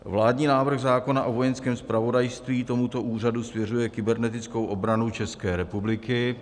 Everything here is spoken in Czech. Vládní návrh zákona o Vojenském zpravodajství tomuto úřadu svěřuje kybernetickou obranu České republiky.